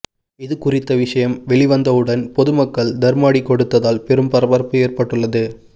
இதுகுறித்த விஷயம் வெளிவந்தவுடன் பொதுமக்கள் தர்ம அடி கொடுத்ததால் பெரும் பரபரப்பு ஏற்பட்டுள்ளது